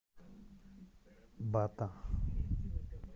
бата